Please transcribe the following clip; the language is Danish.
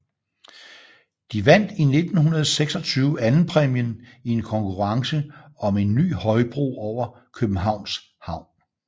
De vandt i 1926 andenpræmien i en konkurrence om en ny højbro over Københavns Havn